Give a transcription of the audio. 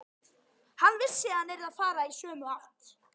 Hann vissi að hann yrði að fara í sömu átt.